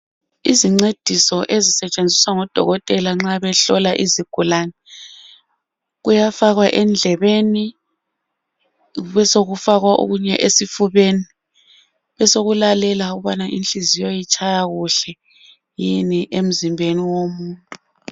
Izincediso ezisetshenziswa ngodokotela nxa behlola izigulane kuyafakwa endlebeni besokufakwa okunye esifubeni besokulalelwa ukubana inhliziyo itshaya kuhle yini emzimbeni womuntu